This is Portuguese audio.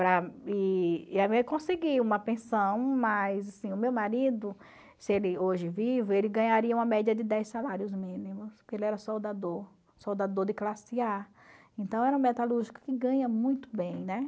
eu consegui uma pensão, mas, assim, o meu marido, se ele hoje vivo, ele ganharia uma média de dez salários mínimos, porque ele era soldador, soldador de classe A. Então, era um metalúrgico que ganha muito bem, né?